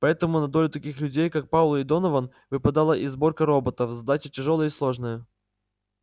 поэтому на долю таких людей как пауэлл и донован выпадала и сборка роботов задача тяжёлая и сложная